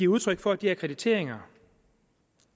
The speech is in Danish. udtryk for at de akkrediteringer